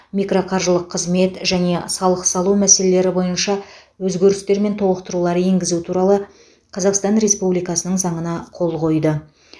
микроқаржылық қызмет және салық салу мәселелері бойынша өзгерістер мен толықтырулар енгізу туралы қазақстан республикасының заңына қол қойды